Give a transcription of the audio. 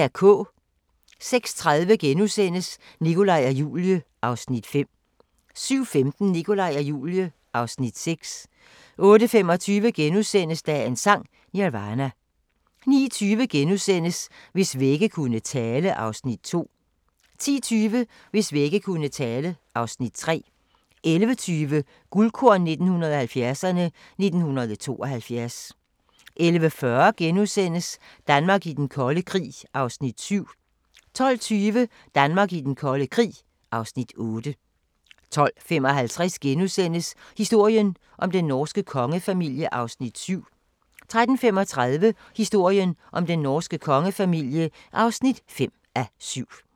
06:30: Nikolaj og Julie (Afs. 5)* 07:15: Nikolaj og Julie (Afs. 6) 08:25: Dagens Sang: Nirvana * 09:20: Hvis vægge kunne tale (Afs. 2)* 10:20: Hvis vægge kunne tale (Afs. 3) 11:20: Guldkorn 1970'erne: 1972 11:40: Danmark i den kolde krig (Afs. 7)* 12:20: Danmark i den kolde krig (Afs. 8) 12:55: Historien om den norske kongefamilie (4:7)* 13:35: Historien om den norske kongefamilie (5:7)